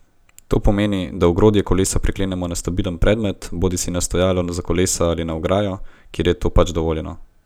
To pomeni, da ogrodje kolesa priklenemo ob stabilen predmet, bodisi na stojalo za kolesa ali na ograjo, kjer je to pač dovoljeno.